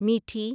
میٹھی